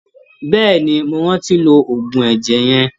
Bẹ́ẹ̀ni, mo rántí lo oògùn ẹ̀jẹ̀ yẹn.